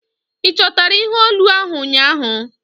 Ị chọtara ihe olu ahu ụnyaahụ?